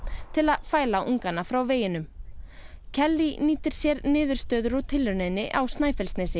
til að fæla ungana frá veginum nýtir sér niðurstöður úr tilrauninni á Snæfellsnesi